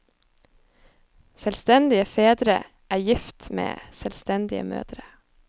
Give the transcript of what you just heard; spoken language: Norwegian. Selvstendige fedre er gift med selvstendige mødre.